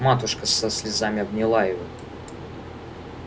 матушка со слезами обняла его